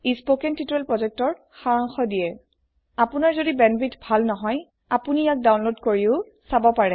কথন শিক্ষণ প্ৰকল্পৰ সাৰাংশ ইয়াত আছে যদি আপোনাৰ বেণ্ডৱিডথ ভাল নহয় তেনেহলে ইয়াক ডাউনলোড কৰি চাব পাৰে